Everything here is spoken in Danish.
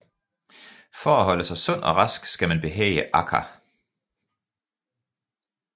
For at holde sig sund og rask skal man behage Akaa